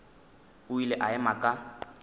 o ile a ema ka